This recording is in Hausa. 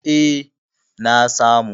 E, na samu.